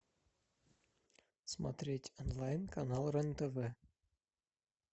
смотреть онлайн канал рен тв